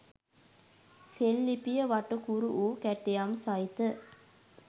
සෙල්ලිපිය වටකුරු වූ කැටයම් සහිත